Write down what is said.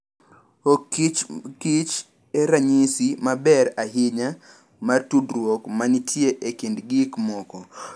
Okichmbkich en ranyisi maber ahinya mar tudruok ma nitie e kind gik moko.